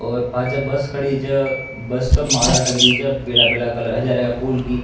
और पाछे बस खडी छे बस पे माला टंगरी छे पीला पीला कलर हजारे का फूल की।